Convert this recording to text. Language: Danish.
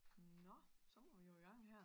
Nå så må vi jo i gang her